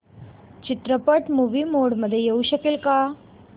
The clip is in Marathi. चित्रपट मूवी मोड मध्ये येऊ शकेल का